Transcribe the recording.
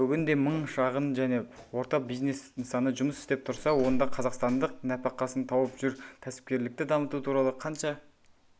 бүгінде мың шағын және орта бизнес нысаны жұмыс істеп тұрса онда қазақстандық нәпәқасын тауып жүр кәсіпкерлікті дамыту туралы қанша